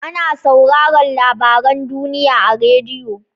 Ana sauraran labaran duniya a radiyo.